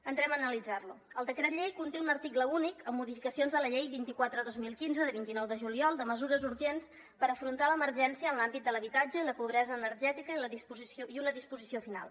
entrem a analitzar lo el decret llei conté un article únic amb modificacions de la llei vint quatre dos mil quinze de vint nou de juliol de mesures urgents per afrontar l’emergència en l’àmbit de l’habitatge i la pobresa energètica i una disposició final